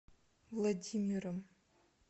владимиром